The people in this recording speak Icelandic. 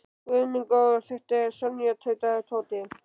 Guð minn góður, þetta er Sonja tautaði Tóti.